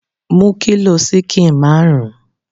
Mú kilo ṣíkìn marun!